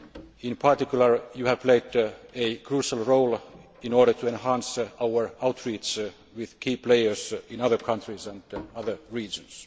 In particular, you have played a crucial role in order to enhance our outreach with key players in other countries and other regions.